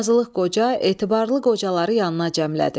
Qazılıq Qoca etibarlı qocaları yanına cəmlədi.